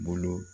Bolo